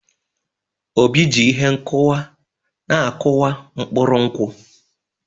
Obi ji ihe nkúwa na akuwa mkpuru nkwụ.